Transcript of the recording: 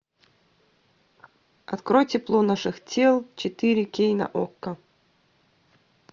открой тепло наших тел четыре кей на окко